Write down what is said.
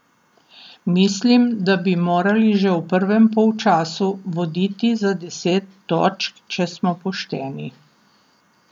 Mislim, da bi morali že v prvem polčasu voditi za deset točk, če smo pošteni.